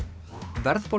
verðbólga